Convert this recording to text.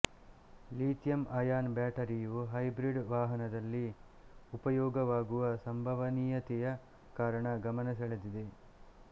lithium ion ಬ್ಯಾಟರಿಯು hybrid ವಾಹನದಲ್ಲಿ ಉಪಯೋಗವಾಗುವ ಸಂಭವನೀಯತೆಯ ಕಾರಣ ಗಮನ ಸೆಳೆದಿದೆ